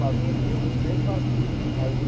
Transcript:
Faziam, sempre faziam.